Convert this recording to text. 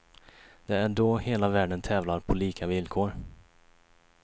Det är då hela världen tävlar på lika villkor.